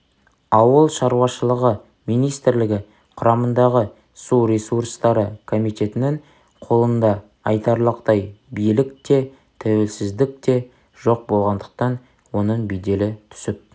ауыл шаруашылығы министрлігі құрамындағы су ресурстары комитетінің қолында айтарлықтай билік те туелсіздік те жоқ болғандықтан оның беделі түсіп